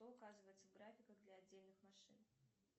что указывается в графиках для отдельных машин